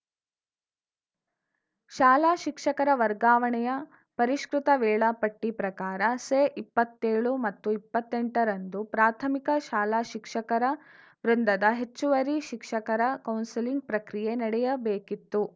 ಶಾಲಾ ಶಿಕ್ಷಕರ ವರ್ಗಾವಣೆಯ ಪರಿಷ್ಕೃತ ವೇಳಾಪಟ್ಟಿಪ್ರಕಾರ ಸೆಇಪ್ಪತ್ತೇಳು ಮತ್ತು ಎಪ್ಪತ್ತೆಂಟರಂದು ಪ್ರಾಥಮಿಕ ಶಾಲಾ ಶಿಕ್ಷಕರ ವೃಂದದ ಹೆಚ್ಚುವರಿ ಶಿಕ್ಷಕರ ಕೌನ್ಸೆಲಿಂಗ್‌ ಪ್ರಕ್ರಿಯೆ ನಡೆಯಬೇಕಿತ್ತು